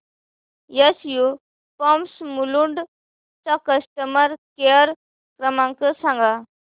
SU pumps Mulund चा customer care क्रमांक सांगा